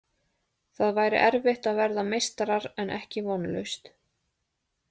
Það væri erfitt að verða meistarar en ekki vonlaust.